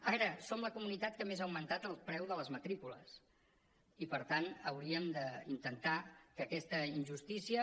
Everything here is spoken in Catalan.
a veure som la comunitat que més ha augmentat el preu de les matrícules i per tant hauríem d’intentar que aquesta injustícia